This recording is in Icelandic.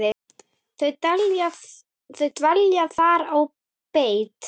Þau dvelja þar á beit.